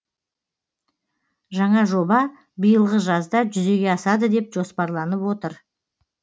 жаңа жоба биылғы жазда жүзеге асады деп жоспарланып отыр